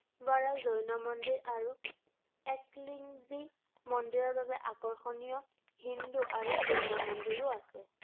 বৰা জৈন মন্দিৰ আৰু একলিংগজী মন্দিৰৰ বাবে আকৰ্ষণীয়, হিন্দু আৰু জৈন মন্দিৰো আছে৷